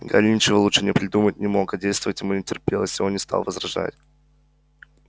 гарри ничего лучшего придумать не мог а действовать ему не терпелось и он не стал возражать